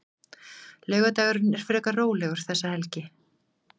Laugardagurinn er frekar rólegur þessa helgina.